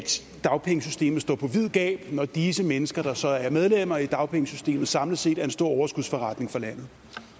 dagpengesystemet står på vid gab når disse mennesker der så er medlemmer i dagpengesystemet samlet set er en stor overskudsforretning for landet